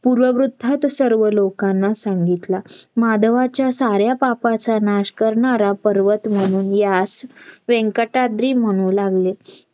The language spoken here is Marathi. पूर्वरूथाथ सर्व लोकांना सांगितला. माधवाच्या साऱ्या पापाचा नाश करणाऱ्या पर्वत म्हणून यास व्यंकटागिरी म्हणू लागले